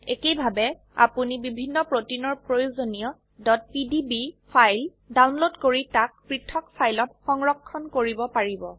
একেইভাবে আপোনি বিভিন্ন প্ৰোটিনৰ প্ৰয়োজনীয় pdb ফাইল ডাউনলোড কৰি তাক পৃথক ফাইলত সংৰক্ষণ কৰিব পাৰিব